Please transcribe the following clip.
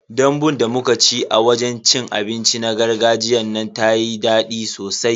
Dambun da muka ci a wajen cin abinci na gargajiyan nan tayi dadi sosai.